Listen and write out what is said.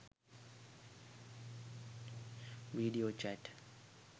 video chat